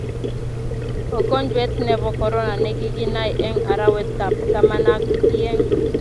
ukojwet nebo korona ne kikinai eng arawet ab taman ak ieng